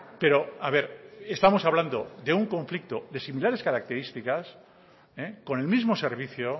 pero a ver estamos hablando de un conflicto de similares características con el mismo servicio